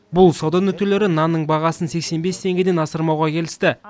бұл сауда нүктелері нанның бағасын сексен бес теңгеден асырмауға келісті